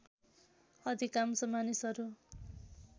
अधिकांश मानिसहरू